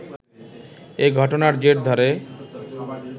এ ঘটনার জের ধরে